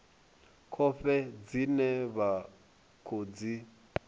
khovhe dzine vha khou dzi